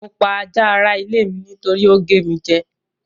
Mo pa ajá ara ilé mi nítorí ó gé mi jẹ́.